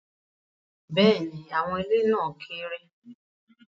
Bẹ́ẹ̀ni, awọn ile na keere